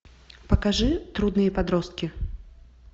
покажи трудные подростки